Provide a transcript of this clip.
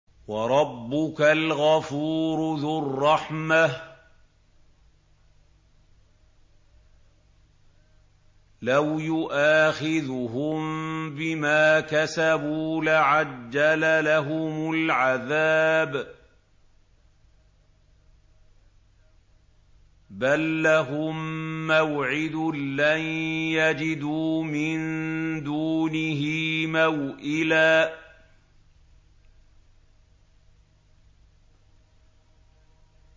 وَرَبُّكَ الْغَفُورُ ذُو الرَّحْمَةِ ۖ لَوْ يُؤَاخِذُهُم بِمَا كَسَبُوا لَعَجَّلَ لَهُمُ الْعَذَابَ ۚ بَل لَّهُم مَّوْعِدٌ لَّن يَجِدُوا مِن دُونِهِ مَوْئِلًا